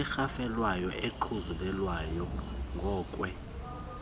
erhafelekayo engaxhuzulelwayo ngokwe